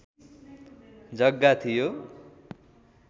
जग्गा थियो